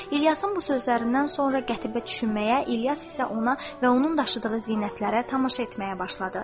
İlyasın bu sözlərindən sonra Qətibə düşünməyə, İlyas isə ona və onun daşıdığı zinətlərə tamaşa etməyə başladı.